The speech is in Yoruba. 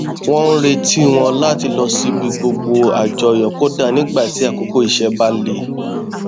wọn n retí wọn láti lọ síbi gbogbo àjọyọ kódà nígbà tí àkókò iṣẹ bá le